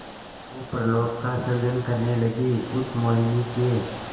स्वप्नलोक का सृजन करने लगीउस मोहिनी के